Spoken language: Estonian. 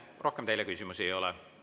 Rohkem teile küsimusi ei ole.